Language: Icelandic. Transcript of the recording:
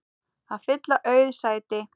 að fylla auð sæti.